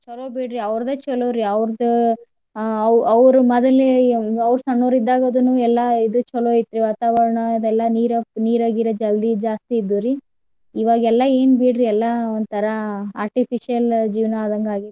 ಚಲೋ ಬಿಡ್ರಿ ಅವರ್ದೇ ಚಲೊರಿ ಅವರ್ದ್ ಆ ಅವ್ ಅವ್ರು ಮದಲೆ ಅವ್ರ್ ಸಣ್ಣವ್ರಿದ್ದಾಗದುನು ಎಲ್ಲಾ ಇದು ಚಲೋ ಐತ್ರಿ ವಾತಾವರಣ ಅದೆಲ್ಲಾ ನೀರ ನೀರ ಗೀರ जल्दी ಜಾಸ್ತಿ ಇದ್ದುರಿ. ಇವಗೆಲ್ಲಾ ಏನ ಬಿಡ್ರಿ ಎಲ್ಲಾ ಒಂದ ತರಾ artificial ಜೀವನಾ ಆದಂಗ ಆಗೇತ್.